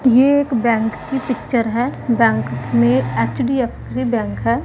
ये एक बैंक की पिक्चर है बैंक में एच_डी_एफ_सी बैंक है।